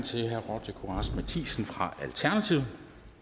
til herre roger courage matthisen fra alternativet